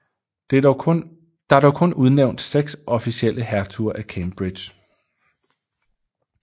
Der er dog kun udnævnt seks officielle hertuger af Cambridge